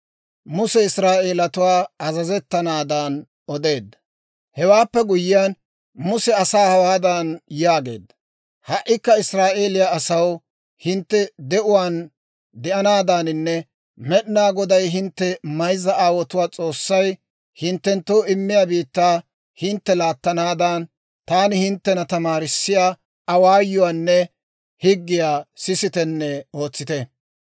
Hewaappe guyyiyaan, Muse asaa hawaadan yaageedda; «Ha"ikka Israa'eeliyaa asaw, hintte de'uwaan de'anaadaaninne Med'inaa Goday, hintte mayzza aawotuwaa S'oossay, hinttenttoo immiyaa biittaa hintte laattanaadan, taani hinttena tamaarissiyaa awaayuwaanne higgiyaa sisitenne ootsite.